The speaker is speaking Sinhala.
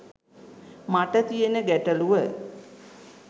මට තියෙන ගැටළුව